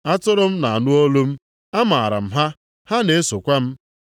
Atụrụ m na-anụ olu m. Amaara m ha, ha na-esokwa m.